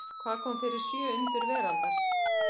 Hvað kom fyrir sjö undur veraldar?